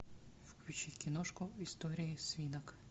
включи киношку история свинок